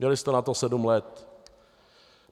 Měli jste na to sedm let.